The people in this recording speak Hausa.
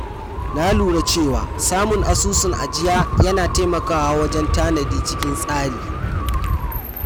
Na lura cewa samun asusun ajiya yana taimakawa wajen tanadi cikin tsari.